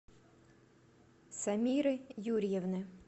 самиры юрьевны